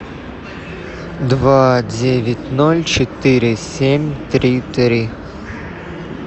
два девять ноль четыре семь три три